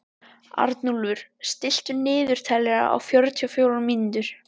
Arnúlfur, stilltu niðurteljara á fjörutíu og fjórar mínútur.